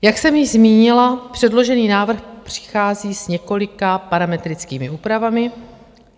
Jak jsem již zmínila, předložený návrh přichází s několika parametrickými úpravami.